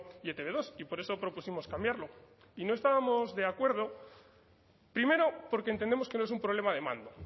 y e te be dos y por eso propusimos cambiarlo y no estábamos de acuerdo primero porque entendemos que no es un problema de mando